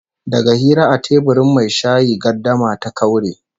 Daga hira a teburin mai shayi gardama ta kaure